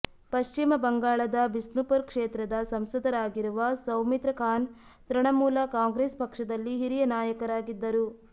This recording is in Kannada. ಪಶ್ಚಿಮ ಬಂಗಾಳದ ಬಿಸ್ನುಪುರ್ ಕ್ಷೇತ್ರದ ಸಂಸದರಾಗಿರುವ ಸೌಮಿತ್ರ ಖಾನ್ ತೃಣಮೂಲ ಕಾಂಗ್ರೆಸ್ ಪಕ್ಷದಲ್ಲಿ ಹಿರಿಯ ನಾಯಕರಾಗಿದ್ದರು